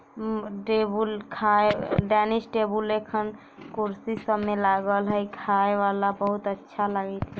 उम table खाये dining table लेखन कुर्सी सब में लागल हई | खाये वाला बहुत अच्छा लगित हई ।